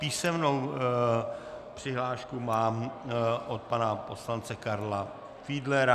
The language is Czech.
Písemnou přihlášku mám od pana poslance Karla Fiedlera.